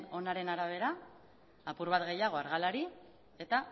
onaren arabera apur bat gehiago argalari eta